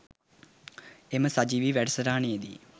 එම සජීවී වැඩසටහනේදී